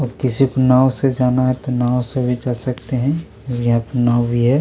और किसी को नाव से जाना है तो नाव से भी जा सकते है यहाँ पे नाव भी है।